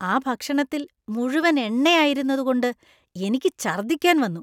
ആ ഭക്ഷണത്തിൽ മുഴുവൻ എണ്ണയായിരുന്നതുകൊണ്ട് എനിക്ക് ഛര്‍ദ്ദിക്കാന്‍ വന്നു.